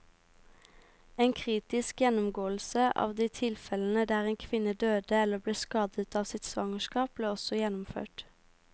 En kritisk gjennomgåelse av de tilfellene der en kvinne døde eller ble skadet av sitt svangerskap, ble også gjennomført.